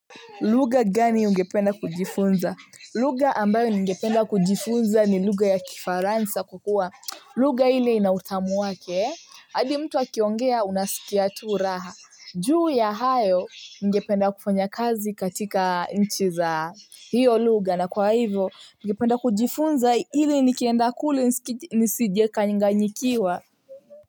Lugha gani ungependa kujifunza? Lugha ambayo ningependa kujifunza ni lugha ya kifaransa kwa kuwa. Lugha ile ina utamu wake. Hadi mtu akiongea unasikia tu raha. Juu ya hayo ningependa kufanya kazi katika nchi za hiyo lugha. Na kwa hivyo ningependa kujifunza ili nikienda kule nisije kanganyikiwa.